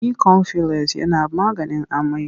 Bikomfules yana maganin amai.